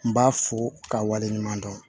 N b'a fo ka waleɲuman dɔn